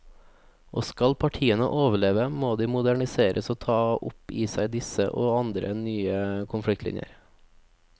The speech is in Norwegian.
Og skal partiene overleve, må de moderniseres og ta opp i seg disse og andre nye konfliktlinjer.